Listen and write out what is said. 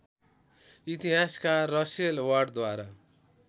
इतिहासकार रसेल वार्डद्वारा